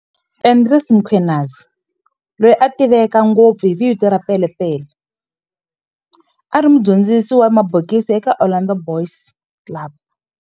Andries Mkhwanazi, loyi a tiveka ngopfu hi vito ra Pele Pele, a ri mudyondzisi wa mabokisi eka Orlando Boys Club.